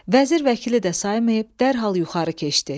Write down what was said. Vəzir-vəkili də saymayıb dərhal yuxarı keçdi.